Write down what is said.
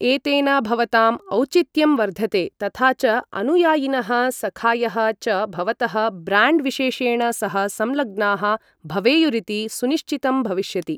एतेन भवताम् औचित्यं वर्धते तथा च अनुयायिनः सखायः च भवतः ब्राण्ड् विशेषेण सह संलग्नाः भवेयुरिति सुनिश्चितं भविष्यति।